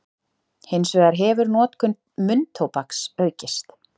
Hins vegar hefur notkun munntóbaks aukist.